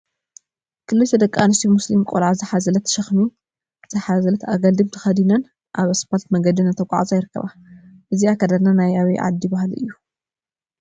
ክልተ ደቂ አንስትዮ ሙስሊም ቆልዓ ዝሓዘለትን ሽክሚ ዝሓዘለትን አግልድም ተከዲነን አብ እስፓልት መንገዲ እናተጓዓዛ ይርከባ፡፡ እዚ አከዳድና ናይ አበይ ዓዲ ባህሊ እዩ?